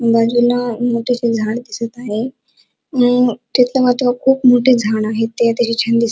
बाजूला मकेचे झाड दिसत आहे अ तिथ मात्र खूप मोठे झाड आहे ते अतिशय छान दिस--